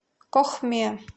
кохме